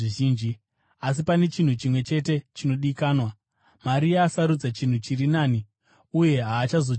asi pane chinhu chimwe chete chinodikanwa. Maria asarudza chinhu chiri nani, uye haazochitorerwi.”